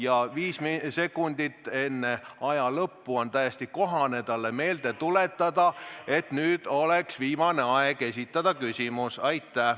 Ja viis sekundit enne aja lõppu on täiesti kohane talle meelde tuletada, et nüüd oleks viimane aeg esitada küsimus.